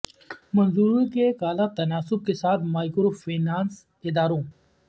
منظوری کے ایک اعلی تناسب کے ساتھ مائیکرو فنانس اداروں